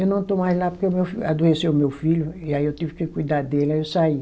Eu não estou mais lá porque o meu fi, adoeceu o meu filho e aí eu tive que cuidar dele, aí eu saí.